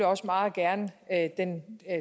også meget gerne at den